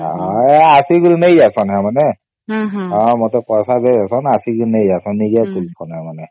ଅସୀକିରି ନେଇ ଯାଉଛନ୍ତି ସେମାନେ ହଁ ମତେ ପଇସା ଦେଇଯାଉସନ ଆଉ ଆସିକି ନେଇଯାଈଶାନ